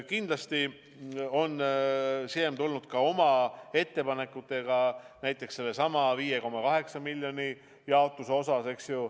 Kindlasti on Siem tulnud oma ettepanekutega, näiteks sellesama 5,8 miljoni jaotuse osas.